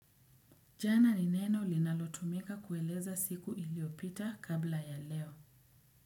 Jana ni neno linalotumika kueleza siku iliopita kabla ya leo.